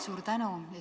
Suur tänu!